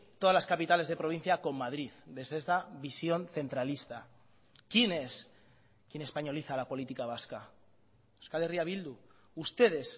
todas las capitales de provincia con madrid desde esta visión centralista quién es quien españoliza la política vasca euskal herria bildu ustedes